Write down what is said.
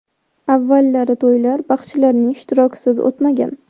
Avvallari to‘ylar baxshilarning ishtirokisiz o‘tmagan.